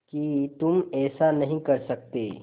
कि तुम ऐसा नहीं कर सकते